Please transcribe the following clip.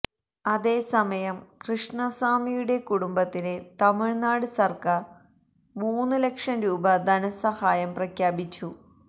അതേസമയം കൃഷ്ണസാമിയുടെ കുടുംബത്തിന് തമിഴ്നാട് സര്ക്കാര് മൂന്ന് ലക്ഷം രൂപ ധനസഹായം പ്രഖ്യാപിച്ചു